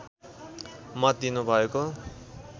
मत दिनु भएको